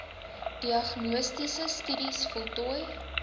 diagnostiese studies voltooi